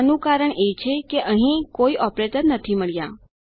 આનું કારણ એ છે કે અહીં કોઈ ઓપરેટર મળ્યા નથી